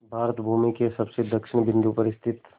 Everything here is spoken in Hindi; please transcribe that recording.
भारत भूमि के सबसे दक्षिण बिंदु पर स्थित